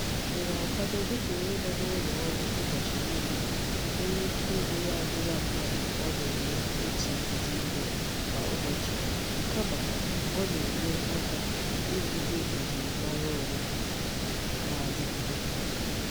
I na-akwado dika onye no n'ulo oru ubochi nile nwere Ike ime ya adila mmadu o na-eme otu udi ihe Kwa ubochi kama o na-enye aka ihiwa ejiri mara onwe na-adigide.